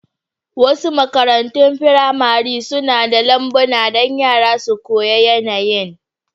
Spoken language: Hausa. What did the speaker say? Wasu makarantun firamare suna da lambuna don yara su koyi yanayin.